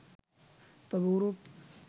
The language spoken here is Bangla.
তবে ওরূপ